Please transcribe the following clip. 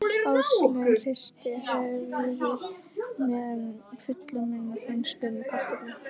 Áslaug hristi höfuðið með fullan munn af frönskum kartöflum.